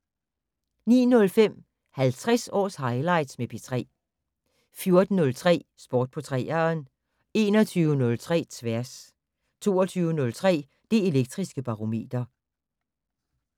09:05: 50 års highlights med P3 14:03: Sport på 3'eren 21:03: Tværs 22:03: Det Elektriske Barometer